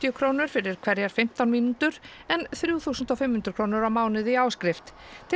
krónur fyrir hverjar fimmtán mínútur en þrjú þúsund og fimm hundruð krónur á mánuði í áskrift til